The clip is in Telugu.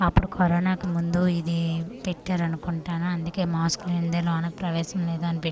అప్పుడు కరోనాకు ముందు ఇది పెట్టారనుకుంటాను అందుకే మాస్కు లేనిదే లోనకు ప్రవేశం లేదని పెట్--